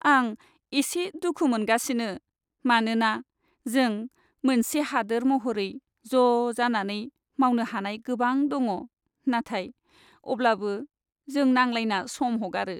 आं एसे दुखु मोनगासिनो मानोना जों मोनसे हादोर महरै ज' जानानै मावनो हानाय गोबां दङ, नाथाय अब्लाबो जों नांलायना सम हगारो।